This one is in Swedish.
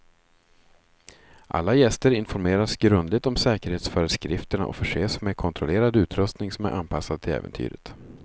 Alla gäster informeras grundligt om säkerhetsföreskrifterna och förses med kontrollerad utrustning som är anpassad till äventyret.